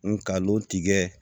Ngalon tigɛ